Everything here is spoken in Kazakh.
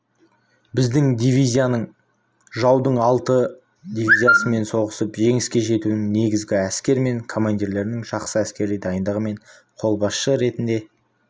біздің дивизияның жаудың алты дивизиясымен соғысып жеңіске жетуінің негізі әскер мен командирлердің жақсы әскери дайындығы мен қолбасшы ретінде